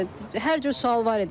Hər cür sual var idi.